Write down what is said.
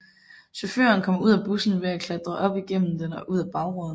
Chaufføren kom ud af bussen ved at klatre op igennem den og ud af bagruden